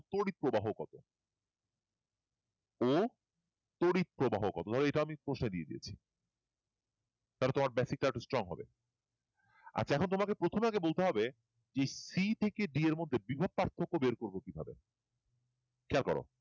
ও তড়িৎ প্রবাহ কত এটা আমি কষে দিয়ে দিয়েছি তাহলে তোমার basic টা একটু strong হবে আচ্ছা এখন তোমাকে প্রথমে আগে বলতে হবে c থেকে d এর মধ্যে বিভব পার্থক্য বের করবো কিভাবে খেয়াল করো